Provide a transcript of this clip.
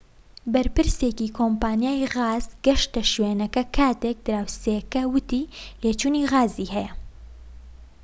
بەرپرسێکی کۆمپانیای غاز گەشتە شوێنەکە کاتێك دراوسێیەک وتی لێچوونی غازی هەیە